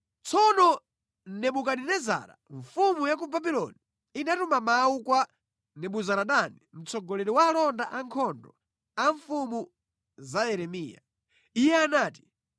Tsono Nebukadinezara mfumu ya ku Babuloni inatuma mawu kwa Nebuzaradani mtsogoleri wa alonda ankhondo a mfumu za Yeremiya. Iye anati: